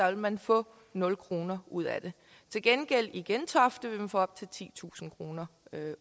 vil man få nul kroner ud af det til gengæld i gentofte få op til titusind kroner